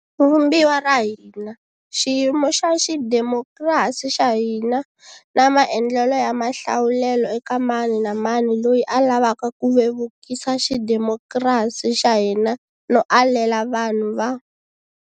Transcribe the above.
Vumbiwa ra hina, xiyimo xa xidemokirasi xa hina na maendlelo ya mahlawulelo eka mani na mani loyi a lavaka ku vevukisa xidemokirasi xa hina no alela vanhu va.